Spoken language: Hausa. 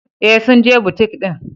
Ee, sun je butik din.